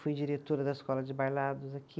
Fui diretora da Escola de Bailados aqui.